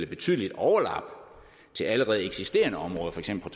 betydelige overlap til allerede eksisterende områder for eksempel